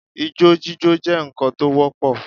Ijó jíjó jẹ́ ǹkan tó wọ́pọ̀